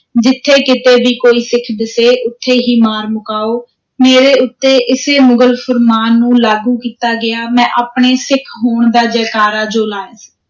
ਜਿਥੇ ਕਿਤੇ ਭੀ ਕੋਈ ਸਿੱਖ ਦਿਸੇ, ਉਥੇ ਹੀ ਮਾਰ ਮੁਕਾਓ, ਮੇਰੇ ਉਤੇ ਇਸੇ ਮੁਗ਼ਲ ਫ਼ੁਰਮਾਨ ਨੂੰ ਲਾਗੂ ਕੀਤਾ ਗਿਆ, ਮੈਂ ਆਪਣੇ ਸਿੱਖ ਹੋਣ ਦਾ ਜੈਕਾਰਾ ਜੁ ਲਾਇਆ।